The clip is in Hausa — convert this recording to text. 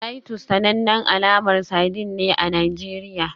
Titus sanannen alamar sardine ne a Najeriya